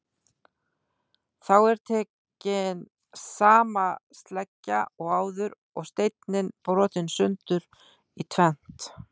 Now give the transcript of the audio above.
Þá er tekin sama sleggja og áður og steinninn brotinn sundur í tvennt.